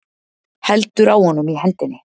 Heldur á honum í hendinni.